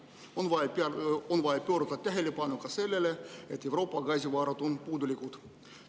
On vaja pöörata tähelepanu ka sellele, et Euroopa gaasivarud on puudulikud.